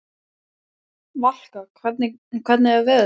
Valka, hvernig er veðurspáin?